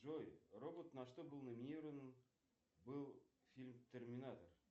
джой робот на что был номинирован был фильм терминатор